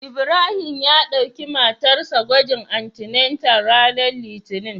Ibrahim ya dauki matar sa gwagin antenatal ranar Litinin.